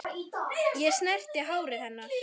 Ég snerti hárið hennar.